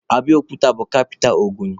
Abiokuta bụ kapita Ogun.